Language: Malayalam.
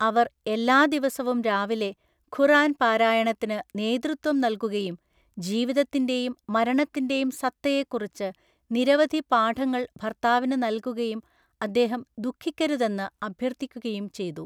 അവർ എല്ലാ ദിവസവും രാവിലെ ഖുർആൻ പാരായണത്തിന് നേതൃത്വം നൽകുകയും ജീവിതത്തിൻ്റെയും മരണത്തിൻ്റെ യും സത്തയെക്കുറിച്ച് നിരവധി പാഠങ്ങൾ ഭർത്താവിന് നൽകുകയും അദ്ദേഹം ദുഃഖിക്കരുതെന്ന് അഭ്യർത്ഥിക്കുകയും ചെയ്തു.